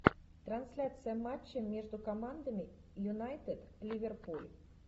трансляция матча между командами юнайтед ливерпуль